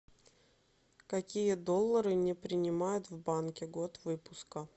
какие доллары не принимают в банке год выпуска